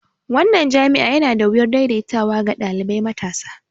Wannan jami'a yana da wuyar daidaitawa ga ɗalibai matasa.